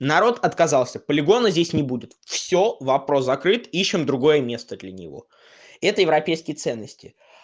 народ отказался полигона здесь не будут всё вопрос закрыт ищем другое место для него это европейские ценности